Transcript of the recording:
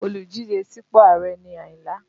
Olùdíje sípò Ààrẹ ni Ayinla